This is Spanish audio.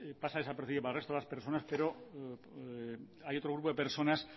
pasa desapercibido para el resto de personas pero hay otro grupo de personas